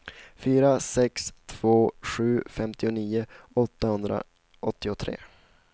fyra sex två sju femtionio åttahundraåttiotre